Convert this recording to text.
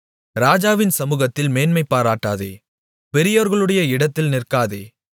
ராஜாவின் சமுகத்தில் மேன்மைபாராட்டாதே பெரியோர்களுடைய இடத்தில் நிற்காதே